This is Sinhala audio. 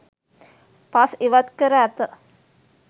පස් ඉවත්කර ඇත